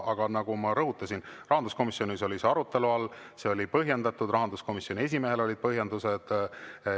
Aga nagu ma rõhutasin, rahanduskomisjonis oli see arutelu all, see otsus oli põhjendatud, rahanduskomisjoni esimehel olid põhjendused.